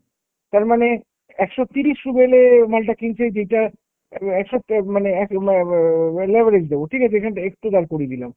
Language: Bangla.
তার মানে একশো তিরিশ ruble এ মালটা কিনছে যেইটা এ~ একশো অ্যাঁ মানে এক ম্যা ম্যা ম্যা leverage দাই, ঠিক আছে? এখনটায় একটু দাঁড় করিয়ে দিলাম।